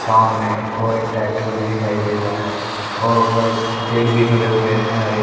छांव में और एक ट्रैक्टर भी दिखाई दे रहा है और उधर पेड़ भी खड़े हुए हैं हरे--